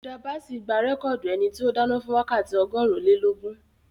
Hilda Basi gba rẹ́kọ̀dì ẹni tí ó dáná fún wákàtí ọgọ́rùn-ún-ilé-lógún